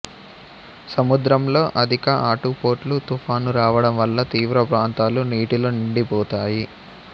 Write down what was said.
సముద్రంలో అధిక ఆటుపోట్లు తుఫాను రావడం వల్ల తీరప్రాంతాలు నీటితో నిండిపోతాయి